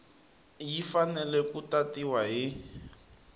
yi fanele ku tatiwa hi